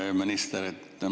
Hea minister!